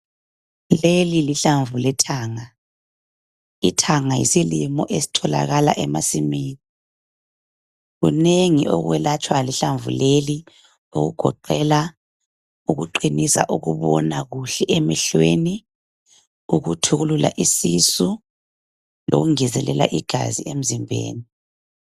lelilihlamvu lethanga ithanga yisilimo esitholaka emasimini kunengi okwelatshwa lihlamvu leli okugoqela ukuqhinisa ukubona kuhle emehlweni ukuthukulula isisu lokungezelelaigazi emzimbeni